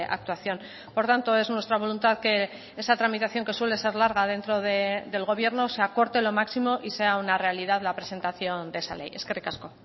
actuación por tanto es nuestra voluntad que esa tramitación que suele ser larga dentro del gobierno se acorte lo máximo y sea una realidad la presentación de esa ley eskerrik asko